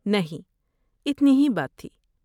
نہیں، اتنی ہی بات تھی۔